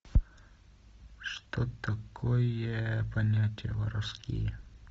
что такое понятия воровские